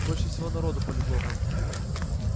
больше всего народу полегло там